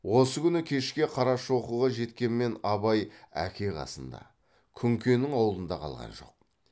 осы күні кешке қарашоқыға жеткенмен абай әке қасында күнкенің аулында қалған жоқ